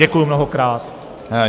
Děkuji mnohokrát.